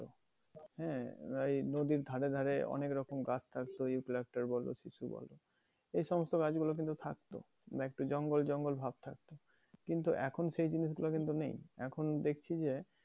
হ্যাঁ, বা এই নদীর ধারে ধারে অনেক রকম গাছ থাকতো বলো বা বলো এই সমস্ত গাছগুলো কিন্তু থাকতো মানে একটু জঙ্গল জঙ্গল ভাব থাকতো। কিন্তু এখন সেই জিনিসগুলো কিন্তু নেই। এখন দেখছি যে